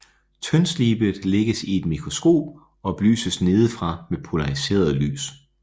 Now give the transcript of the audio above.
Tyndslibet lægges i et mikroskop og belyses nedefra med polariseret lys